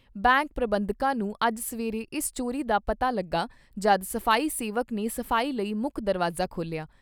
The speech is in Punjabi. ਬੈਂਕ ਪ੍ਰਬੰਧਕਾਂ ਨੂੰ ਅੱਜ ਸਵੇਰੇ ਇਸ ਚੋਰੀ ਦਾ ਪਤਾ ਲੱਗਾ ਜਦ ਸਫ਼ਾਈ ਸੇਵਕ ਨੇ ਸਫ਼ਾਈ ਲਈ ਮੁੱਖ ਦਰਵਾਜ਼ਾ ਖੋਲ੍ਹਿਆ।